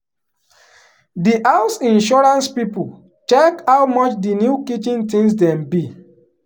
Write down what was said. di house insurance people check how much the new kitchen tins dem be.